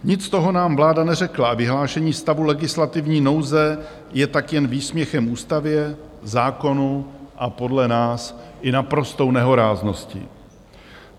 Nic z toho nám vláda neřekla a vyhlášení stavu legislativní nouze je tak jen výsměchem ústavě, zákonu a podle nás i naprostou nehoráznosti.